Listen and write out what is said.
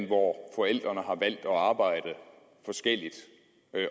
hvor forældrene har valgt at arbejde forskelligt